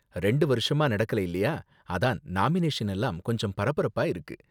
ரெண்டு வருஷமா நடக்கல இல்லையா, அதான் நாமினேஷன் எல்லாம் கொஞ்சம் பரபரப்பா இருக்கு.